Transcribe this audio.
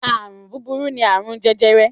Àrùn búburú ni àrùn jẹjẹrẹ.